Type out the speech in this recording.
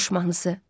Qış mahnısı.